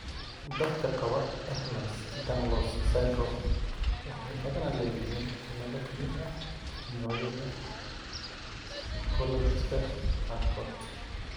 Dadka qaba Ehlers Danlos syndrome waxay badanaa leeyihiin cillado ka mid ah noocyada kolajka qaarkood.